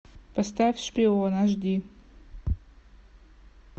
поставь шпион аш ди